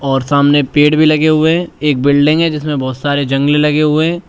और सामने पेड़ भी लगे हुए हैं एक बिल्डिंग है जिसे बहुत सारे जंग लगे हुए हैं।